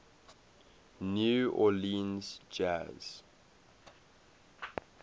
new orleans jazz